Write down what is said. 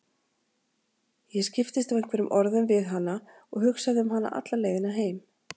Ég skiptist á einhverjum orðum við hana og hugsaði um hana alla leiðina heim.